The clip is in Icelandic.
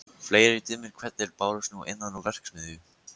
Fleiri dimmir hvellir bárust nú innan úr verksmiðju